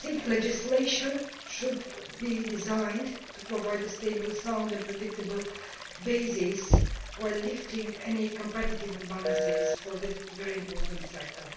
Legislation should be designed to provide a stable, sound and predictable basis, while removing any competitive imbalances in this very important sector.